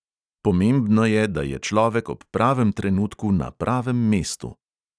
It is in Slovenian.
Pomembno je, da je človek ob pravem trenutku na pravem mestu.